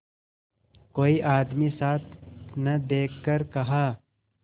कोई आदमी साथ न देखकर कहा